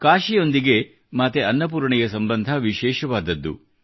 ಕಾಶಿಯೊಂದಿಗೆ ಮಾತೆ ಅನ್ನಪೂರ್ಣೆಯ ಸಂಬಂಧ ವಿಶೇಷವಾದದ್ದು